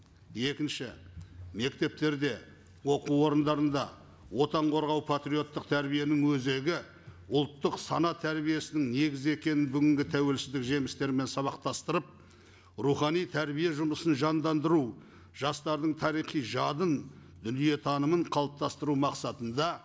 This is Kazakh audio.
екінші мектептерде оқу орындарында отан қорғау патриоттық тәрбиенің өзегі ұлттық сана тәрбиесінің негізі екенін бүгінгі тәуелсіздік жемістермен сабақтастырып рухани тәрбие жұмысын жандандыру жастардың тарихи жадын дүниетанымын қалыптастыру мақсатында